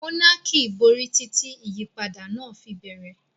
Monarchy borí títí ìyípadà náà fi bẹ̀rẹ̀.